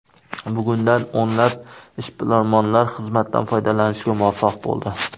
Bugundan o‘nlab ishbilarmonlar xizmatdan foydalanishga muvaffaq bo‘ldi.